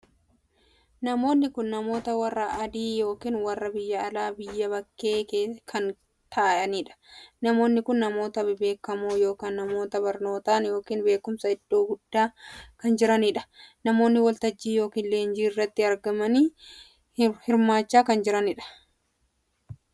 Namoonni kun namoota warra adii ykn warra biyya alaa /biyya bakkee kan taa'aniidha. namoonni kun namoota bebbeekamoo ykn namoota barnootaan ykn beekumsaan iddoo guddaa kan jiraniidha. namoonni waltajjii ykn leenjii irratti argamanii hirmaachaa kan jiraniidha.